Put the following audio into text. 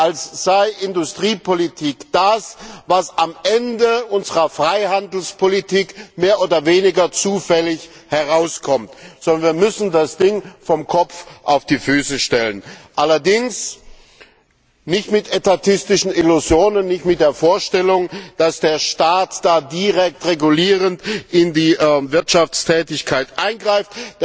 als sei Industriepolitik das, was am Ende unserer Freihandelspolitik mehr oder weniger zufällig herauskommt, sondern wir müssen das Ding vom Kopf auf die Füße stellen allerdings nicht mit etatistischen Illusionen, nicht mit der Vorstellung, dass der Staat da direkt regulierend in die Wirtschaftstätigkeit eingreift.